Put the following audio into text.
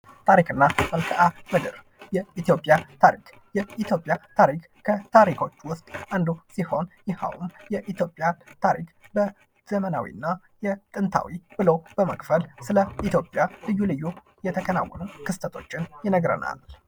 ታሪክ እና መልክአ ምድር ፦ የኢትዮጵያ ታሪክ ፦የኢትዮጵያ ታሪክ ከታሪኮች ውስጥ አንዱ ሲሆን ይኸውም የኢትዮጵያን ታሪክ በዘመናዊ እና የጥንታዊ ብሎ በመክፈል ስለ ኢትዮጵያ ልዩ ልዩ የተከናወኑ ክስተቶችን ይነግረናል ።